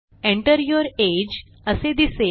Enter your age असे दिसेल